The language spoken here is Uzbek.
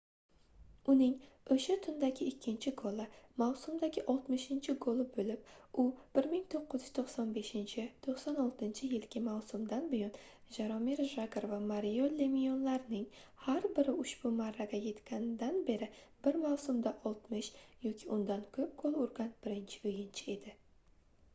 uning oʻsha tundagi ikkinchi goli mavsumdagi 60-goli boʻlib u 1995-96 yilgi mavsumdan buyon jaromir jagr va mario lemyonlarning har biri ushbu marraga yetganidan beri bir mavsumda 60 yoki undan koʻp gol urgan birinchi oʻyinchi edi